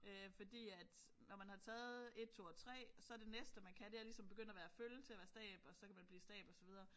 Øh fordi at når man har taget 1 2 og 3 så det næste man kan det er ligesom begynde at være føl til at være stab og så kan man bliver stab og så videre